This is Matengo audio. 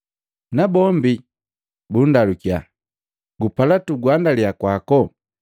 Nabombi bundalukiya, “Gupala tukuguandaliya kwako?”